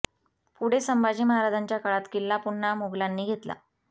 पुढे संभाजी महाराजांच्या काळात किल्ला पुन्हा मोगलांनी घेतला